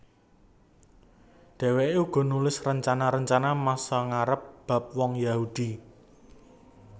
Dhèwèké uga nulis rencana rencana masa ngarep bab wong Yahudi